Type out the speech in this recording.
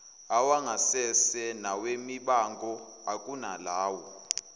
awangasese nawemibango ukunalawo